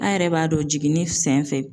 A yɛrɛ b'a dɔn jiginni senfɛ